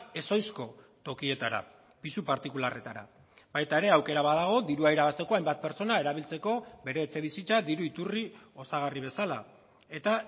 ezohizko tokietara pisu partikularretara baita ere aukera badago dirua irabazteko hainbat pertsona erabiltzeko bere etxebizitza diru iturri osagarri bezala eta